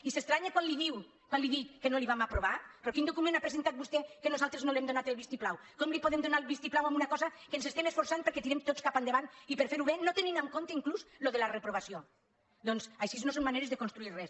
i s’estranya quan li dic que no li ho aprovarem però quin docu·ment ha presentat vostè que nosaltres no li hem do·nat el vistiplau com li podem donar el vistiplau a una cosa que ens estem esforçant perquè la tirem tots cap endavant i per fer·ho bé no tenint en compte inclús això de la reprovació doncs així no són maneres de construir res